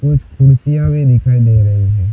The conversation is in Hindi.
कुछ कुर्सियां भी दिखाई दे रही है।